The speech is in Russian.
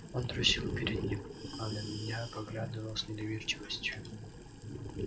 он трусил перед ним а на меня поглядывал с недоверчивостью